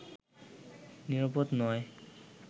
নিরাপদ নয়